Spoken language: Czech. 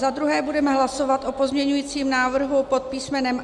Za druhé budeme hlasovat o pozměňujícím návrhu pod písm.